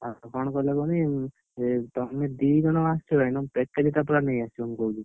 ହଁ କଣ କହିଲ କୁହନି, ତମେ ଦିଜଣ ଆସୁଛ ଭାଇ ତମ package ପୁରା ନେଇ ଆସିବ ମୁଁ କହୁଛି।